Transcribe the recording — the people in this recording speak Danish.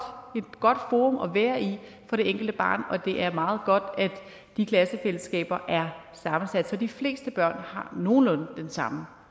forum at være i for det enkelte barn og det er meget godt at de klassefællesskaber er sammensat så de fleste børn har nogenlunde den samme